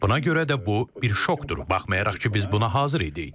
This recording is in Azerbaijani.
Buna görə də bu bir şokdur, baxmayaraq ki biz buna hazır idik.